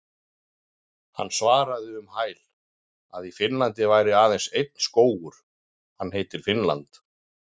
Hann svaraði um hæl að í Finnlandi væri aðeins einn skógur- hann heitir Finnland.